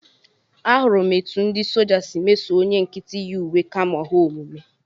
Ahụrụ m etu ndị soja si meso onye nkịtị yi uwe kamo ha omume